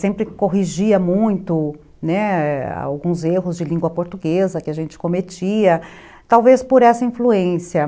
sempre corrigia muito, né, alguns erros de língua portuguesa que a gente cometia, talvez por essa influência.